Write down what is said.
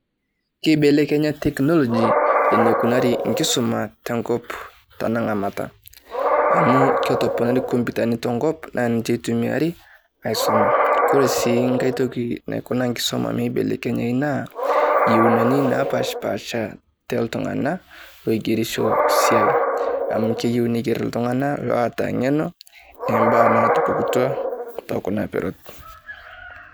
Keibelekenya technology eneikunari enkisuma tenkop tanang'amata amu ketoponorai nkomputani tenkop naa ninche eitumiari aisuma koree sii nkae toki naiko enkisuma meibelekenyayu naa iyeunani naapashipaasha tooltung'anak ooogerisho te siai amu kayieu neiger iltunganak oota ng'eno toombaa naatipikutua tekuna peron.